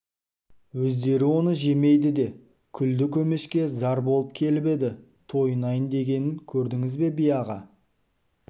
өздері оны жемейді де күлді көмешке зар болып келіп еді тойынайын дегенін көрдіңіз бе би-аға